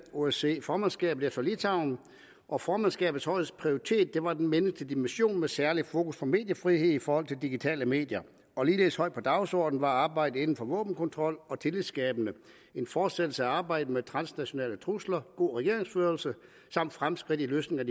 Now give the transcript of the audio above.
osce formandskabet efter litauen og formandskabets højeste prioritet var den menneskelige dimension med særlig fokus på mediefrihed i forhold til digitale medier ligeledes højt på dagsordenen var arbejdet inden for våbenkontrol og tillidsskabelse en fortsættelse af arbejdet med transnationale trusler god regeringsførelse samt fremskridt i løsningen